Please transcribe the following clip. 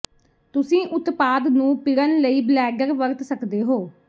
ਤੁਸੀਂ ਉਤਪਾਦ ਨੂੰ ਪਿੜਣ ਲਈ ਬਲੈਡਰ ਵਰਤ ਸਕਦੇ ਹੋ